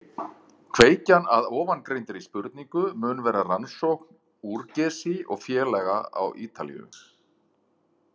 Kveikjan að ofangreindri spurningu mun vera rannsókn Urgesi og félaga á Ítalíu.